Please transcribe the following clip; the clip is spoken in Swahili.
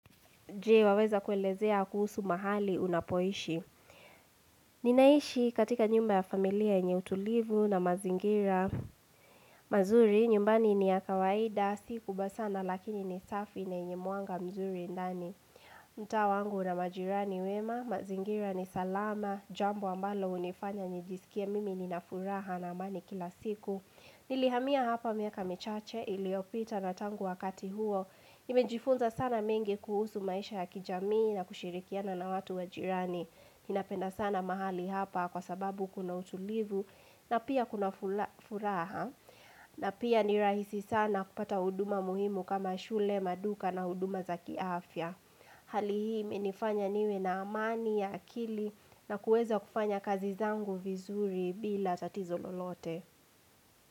Je waweza kuelezea kuhusu mahali unapoishi. Ninaishi katika nyumba ya familia yenye utulivu na mazingira. Mazuri nyumbani ni ya kawaida, si kubwa sana lakini ni safi na yenye mwanga mzuri ndani. Mta wangu una majirani wema, mazingira ni salama, jambo ambalo hunifanya nijisikie mimi ninafuraha na amani kila siku. Nilihamia hapa miaka michache, iliopita na tangu wakati huo. Nimejifunza sana mengi kuhusu maisha ya kijamii na kushirikiana na watu wa jirani ninapenda sana mahali hapa kwa sababu kuna utulivu na pia kuna furaha na pia ni rahisi sana kupata huduma muhimu kama shule, maduka na huduma za kiafya Halih. Hii imenifanya niwe na amani ya akili na kuweza kufanya kazi zangu vizuri bila tatizo lolote.